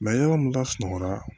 yɔrɔ min ka sunɔgɔra